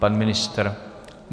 Pan ministr?